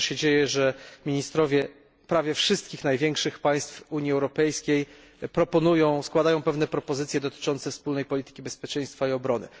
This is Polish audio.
Dobrze się dzieje, że ministrowie prawie wszystkich największych państw Unii Europejskiej składają pewne propozycje dotyczące wspólnej polityki bezpieczeństwa i obrony.